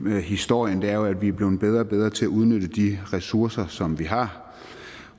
historien er jo at vi er blevet bedre og bedre til at udnytte de ressourcer som vi har